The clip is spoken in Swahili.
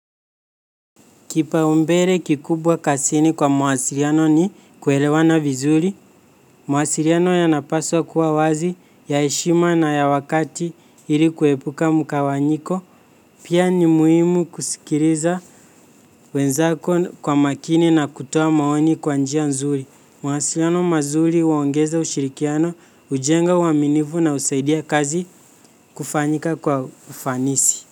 Kipaumbele kikubwa kazini kwa mawasiliano ni kuelewana vizuri, mawasiliano yanapaswa kuwa wazi ya heshima na ya wakati ili kuepuka mgawanyiko, pia ni muhimu kusikiliza wenzako kwa makini na kutoa maoni kwa njia nzuri. Mawasiliano mazuri huongeza ushirikiano, hujenga uaminifu na husaidia kazi kufanyika kwa ufanisi.